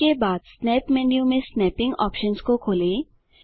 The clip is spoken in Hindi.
उसके बाद स्नैप मेन्यू में स्नैपिंग ऑप्शन्स को खोलें